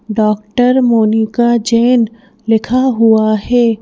Doctor Monika Jain लिखा हुआ है।